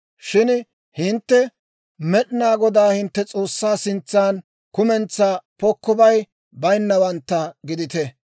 Shin hintte Med'inaa Godaa hintte S'oossaa sintsan kumentsaa pokkobay bayinnawantta gidite.